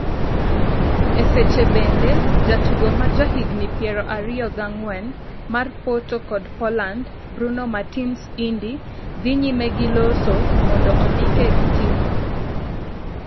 E seche bende, jatugo ma jahigni piero ariyo gi ang'wen mar Porto kod Poland, Bruno Martins Indi, dhi nyime gi loso mondo ondike gi timno.